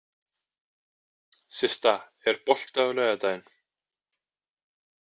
Systa, er bolti á laugardaginn?